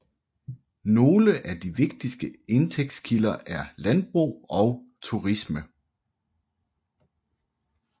Nogle af de vigtigste indtægtskilder er landbrug og turisme